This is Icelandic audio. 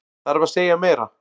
Þarf að segja meira?